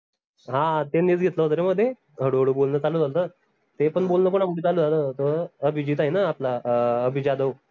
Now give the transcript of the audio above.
हां ते होत रे मध्ये हडू हडू बोलण चालू झाल्त ते पन बोलणं कोनामुड चालू झालं होत अभिजीत आहे ना आपला अभि जाधव